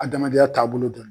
Adamadenya taabolo dɔ